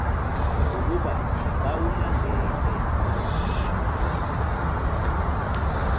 ukuba bawulandele nabo